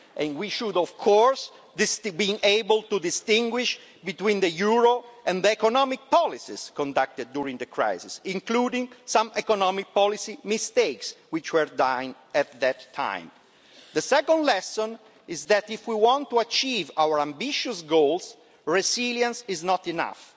We should, of course, be able to distinguish between the euro and the economic policies conducted during the crisis, including some economic policy mistakes which were made at that time. The second lesson is that, if we want to achieve our ambitious goals, resilience is not enough.